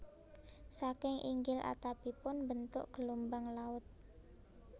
Saking inggil atapipun mbentuk gelombang laut